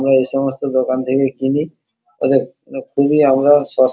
আমরা এই সমস্ত দোকান থেকে কিনি ওদের খুবই আমরা সস্--